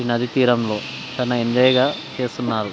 ఈ నది తీరంలో చాల ఎంజాయ్ గ చేస్తున్నారు.